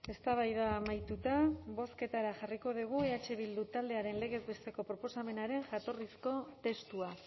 eztabaida amaituta bozketara jarriko dugu eh bildu taldearen legez besteko proposamenaren jatorrizko testua